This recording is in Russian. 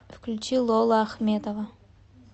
включи лола ахмедова